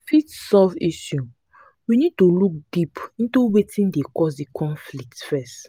to fit solve issue we need to look deep into wetin cause di conflict first